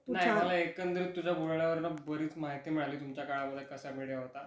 नाही मला एकंदरीत तुज्या बोलण्या वरुनबरीच माहिती मिळाली तुमच्या काळा मध्ये कसा मिडिया होता.